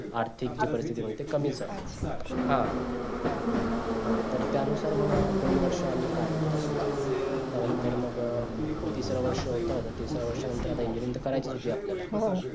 आर्थिक जी परिथिती पण ते कमीच आहे हा हा तर त्या नुसार मग दोन वर्ष आम्ही काढले तसेच त्यानंतर मग तिसरा वर्ष होत मग तिसऱ्या वर्षी नंतर engineering करायची होती हो आपल्या